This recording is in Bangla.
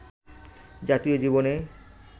জাতীয় জীবনে